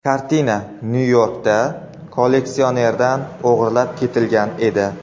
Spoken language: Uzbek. Kartina Nyu-Yorkda kolleksionerdan o‘g‘irlab ketilgan edi.